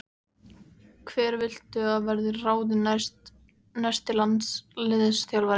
Hver viltu að verði ráðinn næsti landsliðsþjálfari?